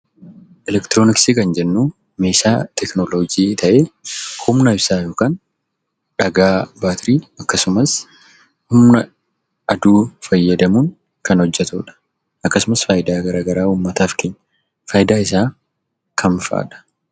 Elektirooniksii jechuun meeshaa teekinooloojii ta'ee humna ibsaan yookiin dhagaa baatirii akkasumas humna aduu fayyadamuun kan hojjetamudha. Uummataaf faayidaa hedduu qaba.